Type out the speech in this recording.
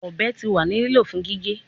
Ọbẹ ti wa ni lilo fun gige